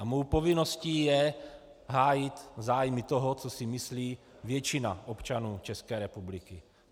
A mou povinností je hájit zájmy toho, co si myslí většina občanů České republiky.